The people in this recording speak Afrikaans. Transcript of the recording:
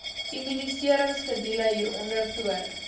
immuniseringskedule hieronder toon